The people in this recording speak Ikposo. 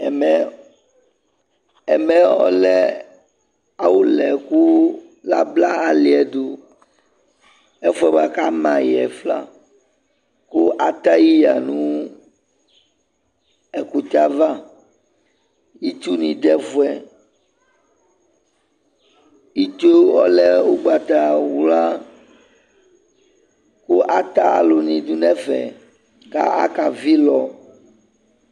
Ɛmɛ, ɛmɛ ɔlɛ awʋla yɛ kʋ abla alɩ yɛ dʋ, ɛfʋ yɛ bʋa kʋ ama yɩ yɛ fa kʋ ata yɩ yǝ nʋ ɛkʋtɛ yɛ ava Itsunɩ dʋ ɛfʋ yɛ Itsu yɛ ɔlɛ ʋgbatawla kʋ ata alʋnɩ dʋ nʋ ɛfɛ kʋ akavɩ ɩlɔ